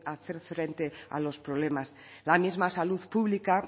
frente a los problemas la misma salud pública